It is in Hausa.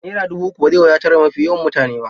Naira dubu uku ba zai wadatar da mafi yawan mutane ba.